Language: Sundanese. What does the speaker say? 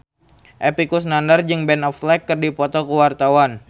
Epy Kusnandar jeung Ben Affleck keur dipoto ku wartawan